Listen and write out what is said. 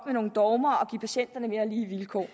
nogle dogmer og give patienterne mere lige vilkår